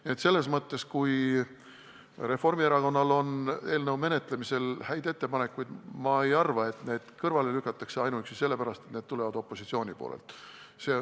Nii et kui Reformierakonnal on eelnõu menetlemisel häid ettepanekuid, siis ma ei arva, et need lükatakse kõrvale ainuüksi seepärast, et need tulevad opositsioonist.